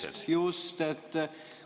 Jaa, just-just!